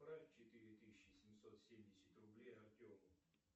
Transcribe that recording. отправь четыре тысячи семьсот семьдесят рублей артему